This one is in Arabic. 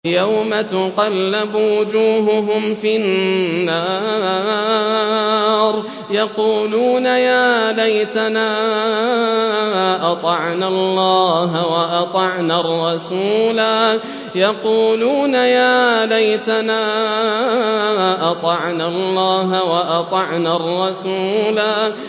يَوْمَ تُقَلَّبُ وُجُوهُهُمْ فِي النَّارِ يَقُولُونَ يَا لَيْتَنَا أَطَعْنَا اللَّهَ وَأَطَعْنَا الرَّسُولَا